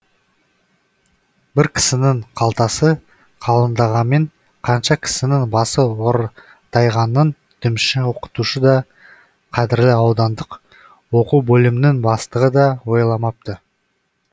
бір кісінің қалтасы қалыңдағанмен қанша кісінің басы ортайғанын дүмше оқытушы да қадірлі аудандық оқу бөлімінің бастығы да ойламапты